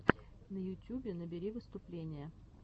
на ютюбе набери выступления